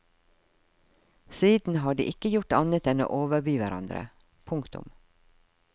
Siden har de ikke gjort annet enn å overby hverandre. punktum